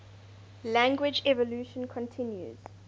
language evolution continues